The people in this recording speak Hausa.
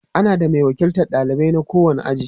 ana da Mai wakiltan ɗalibai na kowani aji